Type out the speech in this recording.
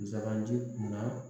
Zandi kunna